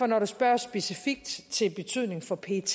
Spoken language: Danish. når der spørges specifikt til betydningen for pets